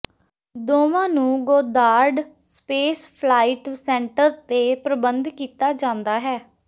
ਦੋਵਾਂ ਨੂੰ Goddard Space Flight Center ਤੇ ਪ੍ਰਬੰਧ ਕੀਤਾ ਜਾਂਦਾ ਹੈ